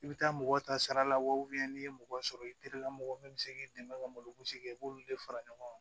I bɛ taa mɔgɔ ta saralaw n'i ye mɔgɔ sɔrɔ i terilamɔgɔ min bɛ se k'i dɛmɛ ka malo sigi i b'olu de fara ɲɔgɔn kan